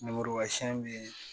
Lemuruba sɛnɛn bɛ yen